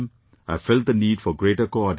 I felt the need for greater coordination